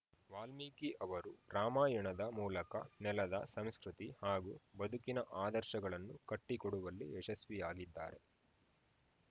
ವಾಲ್ಮಿಕಿ ಅವರು ರಾಮಾಯಾಣದ ಮೂಲಕ ನೆಲದ ಸಂಸ್ಕೃತಿ ಹಾಗೂ ಬದುಕಿನ ಆದರ್ಶಗಳನ್ನು ಕಟ್ಟಿಕೊಡುವಲ್ಲಿ ಯಶಸ್ವಿಯಾಗಿದ್ದಾರೆ